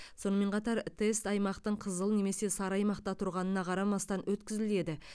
сонымен қатар тест аймақтың қызыл немесе сары аймақта тұрғанына қарамастан өткізіледі